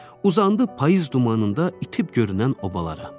Uzandı payız dumanında itib görünən obalara.